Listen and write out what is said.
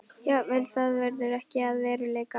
Jafnvel það verður ekki að veruleika.